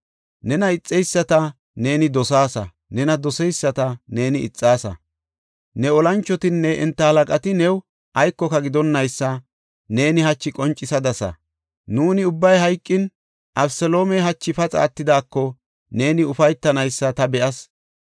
Nena ixeyisata neeni dosaasa; nena doseyisata neeni ixaasa. Ne olanchotinne enta halaqati new aykoka gidonnaysa neeni hachi qoncisadasa. Nuuni ubbay hayqin, Abeseloomey hachi paxa attidaako neeni ufaytanaysa ta be7as.